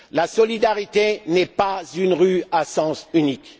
La solidarité n'est pas une voie à sens unique.